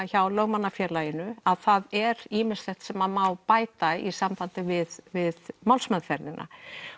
hjá Lögmannafélaginu að það er ýmislegt sem má bæta í sambandi við við málsmeðferðina